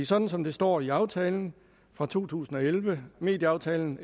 sådan som det står i aftalen fra to tusind og elleve medieaftalen